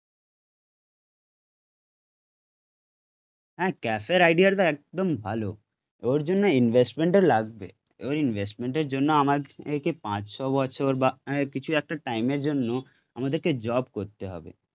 হ্যাঁ, ক্যাফের আইডিয়াটা একদম ভালো, ওর জন্য ইনভেস্টমেন্টও লাগবে ওর ইনভেস্টমেন্ট এর জন্য আমাদের কে পাঁচ ছ বছর বা কিছু একটা টাইম এর জন্য আমাদেরকে জব করতে হবে